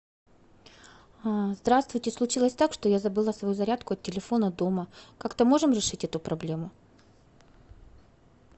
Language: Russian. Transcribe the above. здравствуйте случилось так что я забыла свою зарядку от телефона дома как то можем решить эту проблему